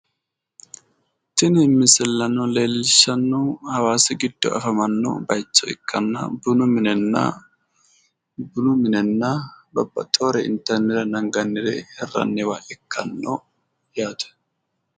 Tin misilano leelishanohu hawasi gido afamanno baycho ikana uduune minena babaxewore intanirena anganre hiraniwa ikano yaate